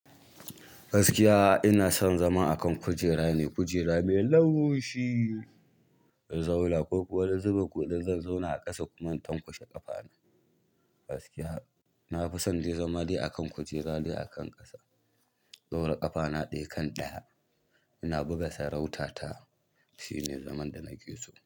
Gaskiya ina son zama a kan kujera ne, kujera mai laushi, in zauna ko kuma wani zubin ko dan zan zauna a ƙasa kuma in tankushe ƙafana. Gaskiya nafi son dai zama dai a kan kujera dai akan ƙasa, in ɗaura ƙafa na ɗaya akan ɗaya ina buga sarautata shine zaman da na ke so.